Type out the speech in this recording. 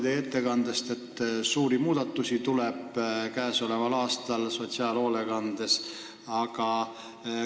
Teie ettekandest oli kuulda, et sel aastal tuleb sotsiaalhoolekandes suuri muudatusi.